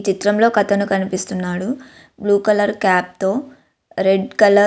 ఈ చిత్రంలో ఒక అతను కనిపిస్తున్నాడు బ్లూ కలర్ క్యాప్ తో రెడ్ కలర్ --